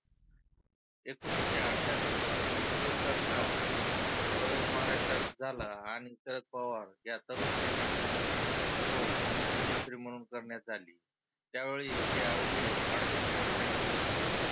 एकोनिसशे अठ्यात्तर मध्ये कुलत सरकार प्रयोग महाराष्ट्रात झाला आणि शरद पवार या तरुण नेत्याची निवड मुख्यमंत्री म्हणुन करण्यात आली. त्यावेळी ते अवघे अडतीस वर्षाचे होते.